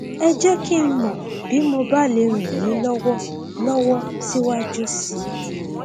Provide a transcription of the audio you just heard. ẹ jẹ kí n mọ bí mo bá lè ràn yín lọwọ lọwọ síwájú sí i